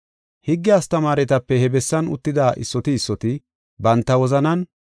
Higge astamaaretape he bessan uttida issoti issoti banta wozanan,